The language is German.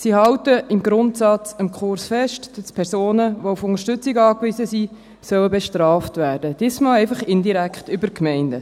Sie halten im Grundsatz am Kurs fest, dass Personen, die auf Unterstützung angewiesen sind, bestraft werden sollen, diesmal einfach indirekt über die Gemeinden.